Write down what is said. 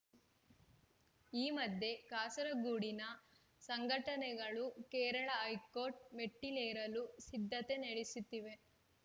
ಈ ಮಧ್ಯೆ ಕಾಸರಗೂಡಿನ ಸಂಘಟನೆಗಳು ಕೇರಳ ಹೈಕೋರ್ಟ್‌ ಮೆಟ್ಟಿಲೇರಲು ಸಿದ್ಧತೆ ನಡೆಸುತ್ತಿವೆ